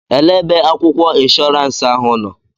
Elee ebe akwụkwọ inshọransi ahụ nọ?